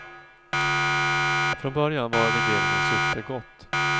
Från början var regleringens syfte gott.